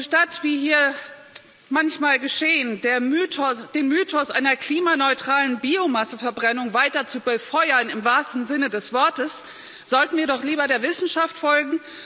Statt, wie hier manchmal geschehen, den Mythos einer klimaneutralen Biomasseverbrennung weiter zu befeuern im wahrsten Sinne des Wortes sollten wir doch lieber der Wissenschaft folgen.